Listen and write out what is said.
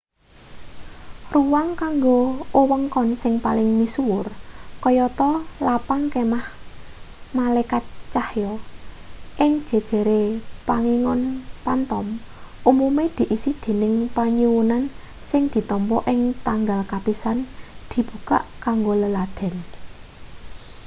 ruang kanggo wewengkon sing paling misuwur kayata lapang kemah malekat cahya ing jejere pangingon phantom umume diisi dening panyuwunan sing ditampa ing tanggal kapisan dibukak kanggo leladen